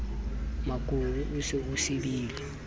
mokuru o se o sibile